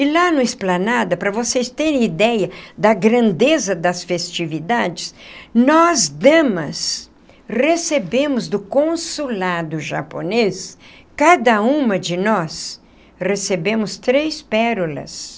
E lá no Esplanada, para vocês terem ideia da grandeza das festividades, nós, damas, recebemos do consulado japonês, cada uma de nós recebemos três pérolas.